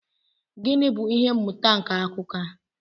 Gịnị bụ ihe mmụta nke akụkọ a?